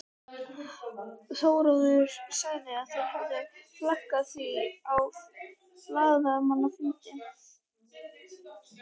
Þórður sagði að þeir hefðu flaggað því á blaðamannafundi.